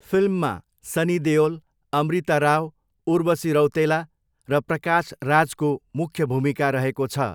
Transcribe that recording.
फिल्ममा सनी देओल, अमृता राव, उर्वशी रौतेला र प्रकाश राजको मुख्य भूमिका रहेको छ।